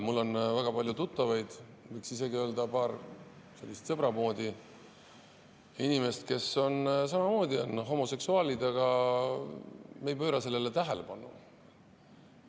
Mul väga paljud tuttavad, võiks isegi öelda, et paar sellist sõbra moodi inimest, on samamoodi homoseksuaalid, aga me ei pööra sellele tähelepanu.